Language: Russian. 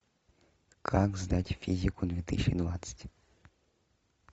как сдать физику две тысячи двадцать